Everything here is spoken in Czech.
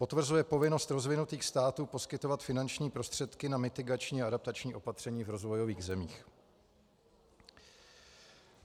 Potvrzuje povinnost rozvinutých států poskytovat finanční prostředky na mitigační a adaptační opatření v rozvojových zemích.